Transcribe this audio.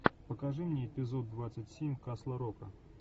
покажи мне эпизод двадцать семь касл рока